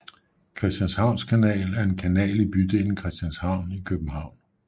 Christianshavns Kanal er en kanal i bydelen Christianshavn i København